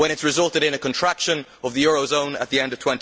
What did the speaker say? It has resulted in a contraction of the eurozone at the end of